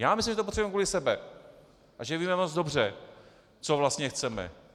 Já myslím, že to potřebujeme kvůli sobě a že víme moc dobře, co vlastně chceme.